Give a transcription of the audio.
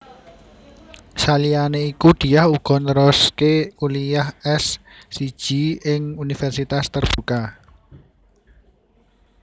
Saliyane iku Diah uga nerusake kuliyah S siji ing Universitas Terbuka